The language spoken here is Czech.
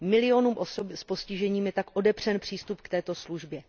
Milionům osob s postižením je tak odepřen přístup k této službě.